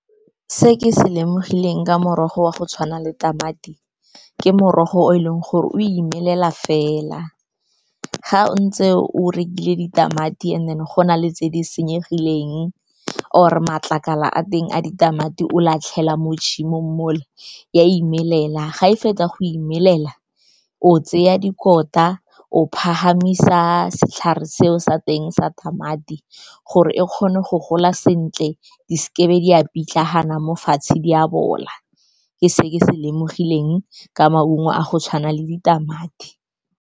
Se ke se lemogileng ka morogo wa go tshwana le tamati ke morogo o e leng gore o imelela fela ga ntse o rekile ditamati, and then go na le tse di senyegileng or matlakala a teng a ditamati o latlhela mo tshimong mo le, e a imelela, ga e fetsa go imelela o tseya dikota o phahamisa setlhare seo sa teng sa tamati gore e kgone go gola sentle. Di se ke di a pitlagana mo fatshe di a bola, ke se ke se lemogileng ka maungo a go tshwana le ditamati.